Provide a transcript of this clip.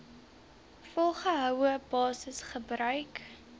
volgehoue basis gebruik